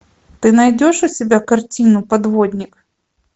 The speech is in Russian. ты найдешь у себя картину подводник